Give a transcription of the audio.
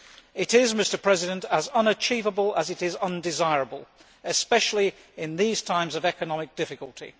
It is as unachievable as it is undesirable, especially in these times of economic difficulty.